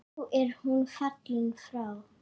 Nú er hún fallin frá.